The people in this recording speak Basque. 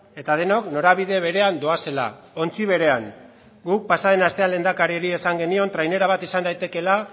eta denok norabide berean doazela ontzi berean guk pasaden astean lehendakariari esan genion trainera bat izan daitekeela